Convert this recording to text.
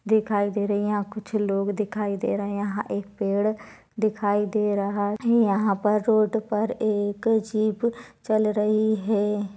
दिखाई दे रही है यहाँ कुछ लोग दिखाई दे रहे यहाँ एक पेड़ दिखाई दे रहा हे यहाँ पर रोड पर एक जीप चल रही हैं।